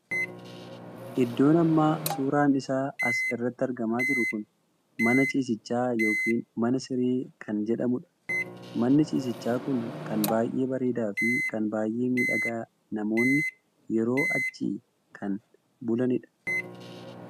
Iddoon amma suuraan isaa as irratti argamaa jiru kun mana ciisichaa ykn mana siree kan jedhamuudha. manni ciisichaa kun kan baay'ee bareedaa fi kan baay'ee miidhagaa namoonni yeroo achi kan bulanidha.